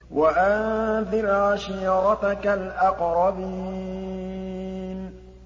وَأَنذِرْ عَشِيرَتَكَ الْأَقْرَبِينَ